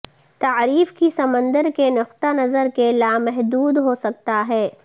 تعریف کی سمندر کے نقطہ نظر کے لامحدود ہو سکتا ہے